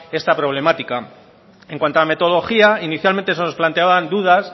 esta problemática en cuanto a metodología inicialmente se nos planteaban dudas